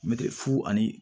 Mɛtiri fu ani